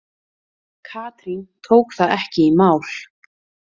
Katrín tók það ekki í mál.